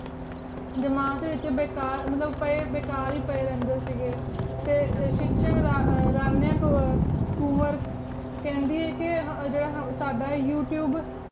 ਜਮਾਤ ਵੇਚ ਬਿਕਾਰ ਮਤਲਬ ਬੁਕਰ ਹੀ ਪੀ ਰਹੰਡੀ ਸੇਘ੍ਯਟੀ ਸ਼ੇਕ੍ਸ਼੍ਦ ਡੀ ਰਾਮ੍ਯਨ ਕੋਲੁਨ homework ਕਹ੍ਨ੍ਯਨ ਕੀ ਸਦਾ ਯੋਉਤੁਬੇ